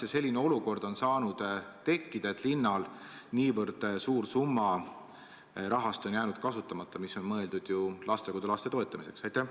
Ja kuidas üldse on saanud tekkida selline olukord, et linnal on jäänud kasutamata nii suur summa, mis on mõeldud lastekodulaste toetamiseks?